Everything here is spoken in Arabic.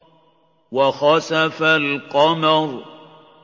وَخَسَفَ الْقَمَرُ